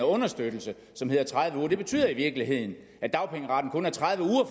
understøttelse som hedder tredive uger det betyder i virkeligheden at dagpengeretten kun er tredive uger